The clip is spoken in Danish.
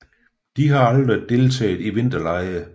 De har aldrig deltaget i vinterlege